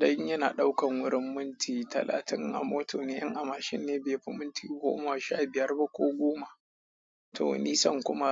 don yana ɗaukan wurin minti talatin a mota ne in a mashin ne be fi minti goma sha biyar ba ko goma to nisan kuma